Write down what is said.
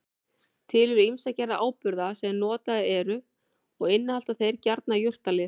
Til eru ýmsar gerðir áburða sem notaðir eru og innihalda þeir gjarnan jurtalyf.